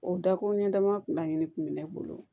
O dakuru ɲɛ dama kun laɲini kun bɛ ne bolo